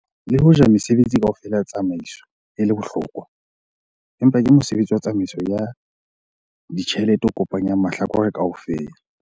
Le hoja mesebetsi kaofela ya tsamaiso e le bohlokwa, empa ke mosebetsi wa tsamaiso ya ditjhelete o kopanyanang mahlakore kaofela.